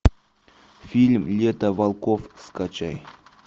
фильм лето волков скачай